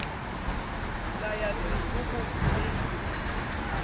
ka ya sepoko e ile